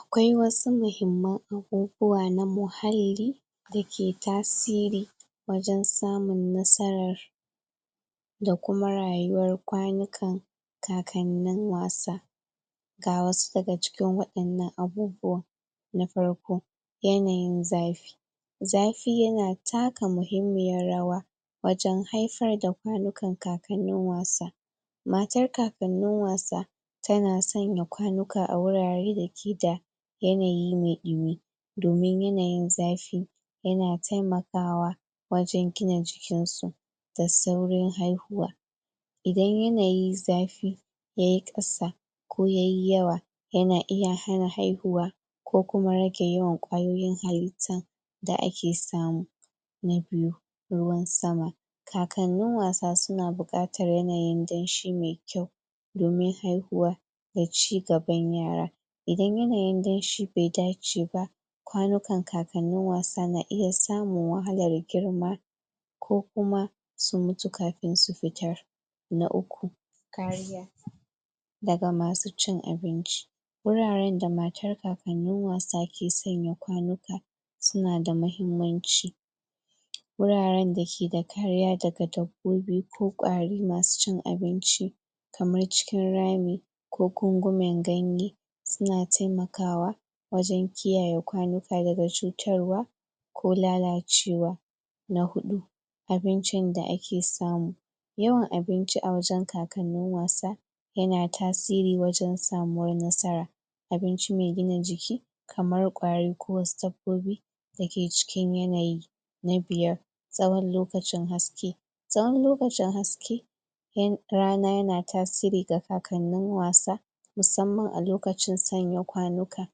Akwai wasu mahimman abubuwa, na muhalli da ke tasiri wajen tsamur nasarar da kuma rayuwar kwanukan kakanin wasa ga wasu da ga cikin waƴennan abubuwan na farko, yanayin zafi zafi ya na takka mahimmiyar rawa wajen haifar da kwanukan kakanin wasa matar kakanin wasa ta na tsanya kwanuka a wurare da ke da yanayi mai ɗumi domin yanayin zafi ya na taimakawa, wajen gina jikin su da saurin haihuwa idan yanayin zafi, yayi kasa ko yayi yawa, ya na iya hana haihuwa ko kuma ragen yawan kwayoyin halittan da ake samu na biyu, ruwan sama takalmin wasa su na bukatar yanayin danshi mai kyau domin haihuwa da cigaban yara idan yanayin ganshi bai dace ba kwanukan kakanin wasa na iya samun wahalar girma ko kuma su mutu kafin su fitar na uku, kariya da ga masu cin abinci wuraren da matar kakanin wasa ke tsanya kwanuka su na da mahimmanci wuraren da ke da kariya da takadar gurbi ko kwari masu cin abinci kamar cikin rami, ko kungumin ganye su na taimakawa wajen kiyaye kwanuka da ga cutarwa ko lallacewa. Na hudu abincin da a ke samu yawan abinci a wajen kakanin wasa ya na tasiri wajen samuwar nasara abinci mai gina jiki kamar kwari ko sabbobi da ke cikin yanayi, na biyar tsawan lokacin haske, tsawan lokacin haske ya rana ya na tasiri ga kakanin wasa musamman a lokacin tsanya kwanuka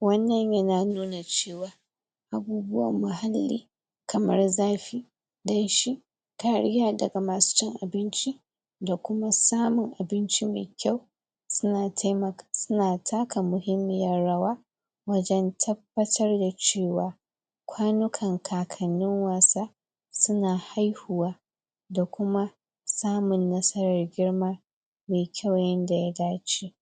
wannan ya na nuna cewa abubuwan muhalli kamar zafi danshi kariya da ga masu cin abinci da kuma samun abinci mai kyau su na taimaka su na takka muhimmiyar rawa wajen tabbatar da cewa kwanukan kakanin wasa su na haihuwa da kuma samun nasarar girma mai kyau yanda ya dace.